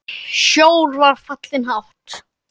Sjór var fallinn hátt.